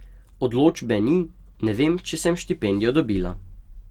Odločbe ni, ne vem, če sem štipendijo dobila.